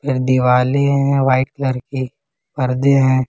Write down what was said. दिवाले है white colour की पर्दे हैं।